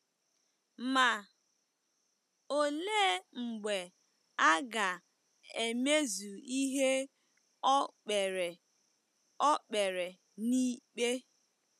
Ma, olee mgbe a ga-emezu ihe o kpere o kpere n'ikpe?